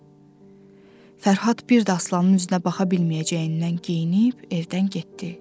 Fərhad bir də Aslanın üzünə baxa bilməyəcəyindən geyinib evdən getdi.